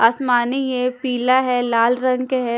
आसमानी ये पिला है लाल रंग के है।